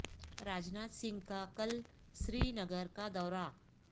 راج ناتھ سنگھ کا کل سری نگر کا دورہ